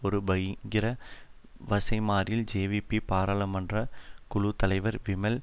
ஒரு பகிரங்க வசைமாரியில் ஜேவிபி பாராளுமன்ற குழு தலைவர் விமல்